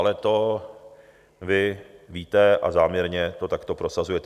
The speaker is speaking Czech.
Ale to vy víte a záměrně to takto prosazujete.